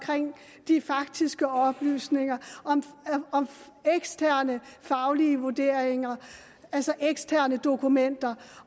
de faktiske oplysninger om de eksterne faglige vurderinger altså de eksterne dokumenter